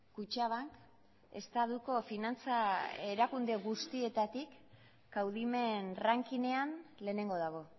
kutxabank estatuko finantza erakunde guztietatik kaudimen rankinean lehenengo dago